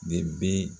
De be